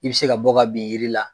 I bɛ se ka bɔ ka bin yiri la.